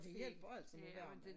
Det hjælper altid med varmen